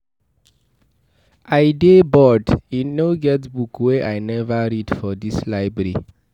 I dey bored. E no get book wey I never read for dis library.